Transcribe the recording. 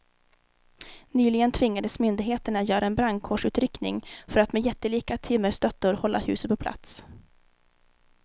Nyligen tvingades myndigheterna göra en brandkårsutryckning för att med jättelika timmerstöttor hålla huset på plats.